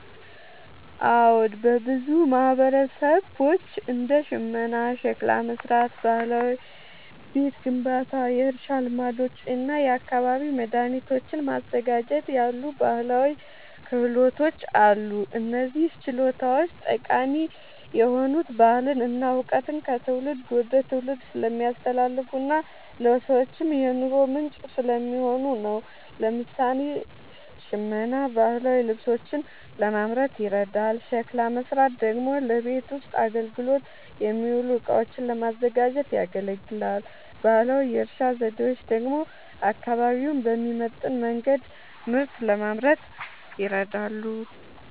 አዎ፣ በብዙ ማህበረሰቦች እንደ ሽመና፣ ሸክላ መሥራት፣ ባህላዊ ቤት ግንባታ፣ የእርሻ ልማዶች እና የአካባቢ መድኃኒቶችን ማዘጋጀት ያሉ ባህላዊ ክህሎቶች አሉ። እነዚህ ችሎታዎች ጠቃሚ የሆኑት ባህልን እና እውቀትን ከትውልድ ወደ ትውልድ ስለሚያስተላልፉና ለሰዎችም የኑሮ ምንጭ ስለሚሆኑ ነው። ለምሳሌ፣ ሽመና ባህላዊ ልብሶችን ለማምረት ይረዳል፤ ሸክላ መሥራት ደግሞ ለቤት ውስጥ አገልግሎት የሚውሉ እቃዎችን ለማዘጋጀት ያገለግላል። ባህላዊ የእርሻ ዘዴዎች ደግሞ አካባቢውን በሚመጥን መንገድ ምርት ለማምረት ይረዳሉ።